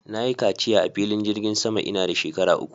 Na yi kaciya a filin jirgin sama ina da shekara uku